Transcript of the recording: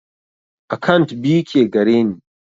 Akant biyu ke gareni